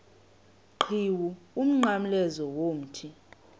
qhiwu umnqamlezo womthi